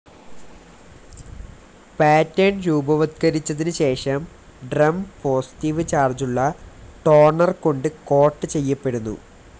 Pattern രൂപവത്കരിച്ചതിന് ശേഷം drum positive ചാർജുള്ള ടോണർ കൊണ്ട് കോട്ട്‌ ചെയ്യപ്പെടുന്നു.